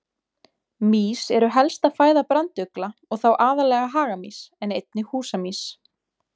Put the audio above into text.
Mýs eru helsta fæða brandugla og þá aðallega hagamýs en einnig húsamýs.